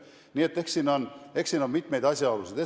Nii et eks siin on mitmeid asjaolusid.